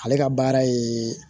Ale ka baara ye